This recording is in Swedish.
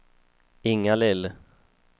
Inga-Lill